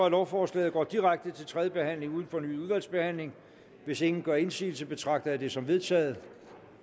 lovforslaget går direkte til tredje behandling uden fornyet udvalgsbehandling hvis ingen gør indsigelse betragter jeg det som vedtaget